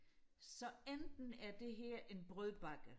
så enten er det her en brødbakke